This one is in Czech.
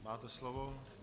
Máte slovo.